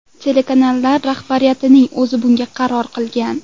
Telekanallar rahbariyatining o‘zi bunga qaror qilgan.